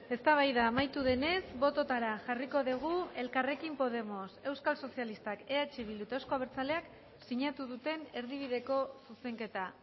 eztabaida amaitu denez bototara jarriko dugu elkarrekin podemos euskal sozialistak eh bildu eta eusko abertzaleak sinatu duten erdibideko zuzenketa